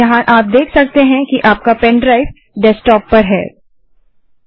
यहाँ आप देख सकते हैं कि आपका पेनड्राइव डेस्कटॉप पर उपस्थित है